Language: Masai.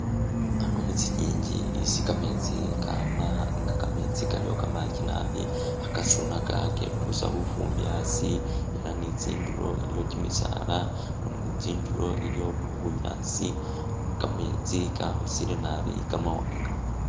Ano mutsi nyingi isi kametsi kama nga kametsi kaliwo kamangi naabi kha kasunaka, ketusa lufumbi asi ela ni tsindulo iliwo kyimisaala, tsindulo iliwo bunyaasi, kametsi kakhosele nabi kamawanga